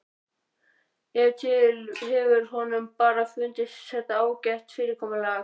Ef til vill hefur honum bara fundist þetta ágætt fyrirkomulag.